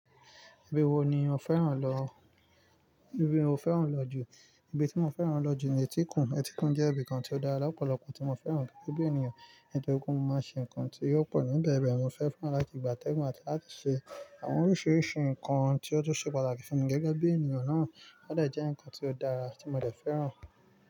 Ibi wo ni o fẹ́ràn lọ? Ibi mo fẹ́ràn lọ jù, ibi tí mo fẹ́ràn lọ jù ni Ètíkun. Ètíkun jẹ́ ibìkan tí ó dára lọ́pọ̀lọpọ̀, tí mo fẹ́ràn gẹ́gẹ́bí ènìyàn. Ètíkun máa ṣe ǹkan tí yóò pọ̀ níbẹ̀. Bẹ́ẹ̀ mo fẹ́ fún Alákígbà Tẹ́mu àti láti ṣe àwọn oríṣiríṣi ǹkan tí ó tó ṣe pàtàkì fún mi gẹ́gẹ́ bí ènìyàn náà. Ó dẹ̀ jẹ́ ǹkan tí ó dára tí mo dẹ̀ fẹ́ràn.